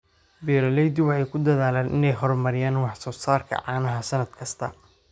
Beeraleydu waxay ku dadaalaan inay horumariyaan wax soo saarka caanaha sannad kasta.